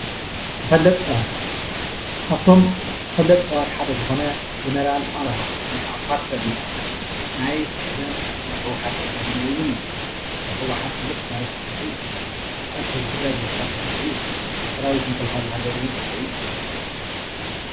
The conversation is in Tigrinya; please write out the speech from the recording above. ተፈለጥቲ ሰባት-ካብቶም ተፈለጥቲ ሰባት ሓደ ዝኾነ ጀነራል ኣብርሃ ወይ ከዓ ኳርተር ይበሃል። ናይ ቀደም ናይ ህወሓት ተጋዳላይ እውን እዩ። ኣብ ሕወሓት ብዙሕ ታሪክ ሰሪሑ እዩ። ኣብ ቃልሲ ህዝቢ ትግራይ ብዙሕ ታሪክ ሰሪሑ እዩ። ኣብ ሰራዊት ምክልኻል ሃገር እውን ሰሪሑ እዩ።